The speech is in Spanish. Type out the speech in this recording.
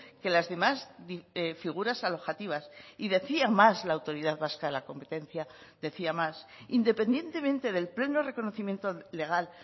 que las demás figuras alojativas y decía más la autoridad vasca de la competencia decía más independientemente del pleno reconocimiento legal